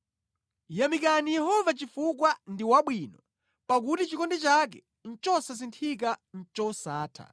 Yamikani Yehova chifukwa ndi wabwino; pakuti chikondi chake chosasinthika ndi chosatha.